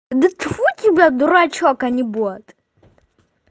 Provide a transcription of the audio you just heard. да тьфу тебя дурачок а не бот